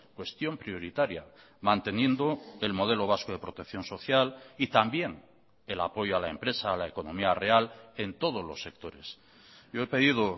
cuestión prioritaria manteniendo el modelo vasco de protección social y también el apoyo a la empresa a la economía real en todos los sectores yo he pedido